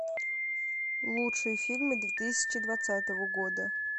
лучшие фильмы две тысячи двадцатого года